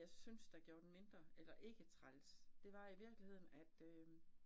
Jeg syntes, der gjorde den mindre eller ikke træls, det var i virkeligheden at øh